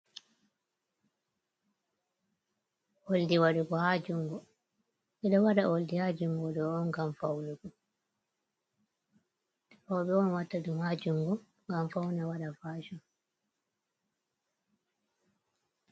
Oldi wadugo ha jungu, robe on watta dum ha jungu ngam fauna wada fashun.